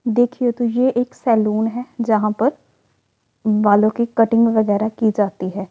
देखिये तो यह एक सैलून है जहां पर बालों की कटिंग वगैरा की जाती है।